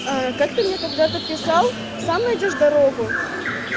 а как ты мне когда-то писал сам найдёшь дорогу